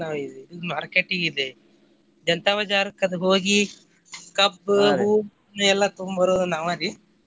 Market ಗೆ ಇದೆ Janta Bazar ಕ್ಕದು ಹೋಗಿ ಕಬ್ಬು ಹೂವು ಎಲ್ಲಾ ತಗೊಂಡ್ ಬರೋದ್ ನಾವಾ ರೀ.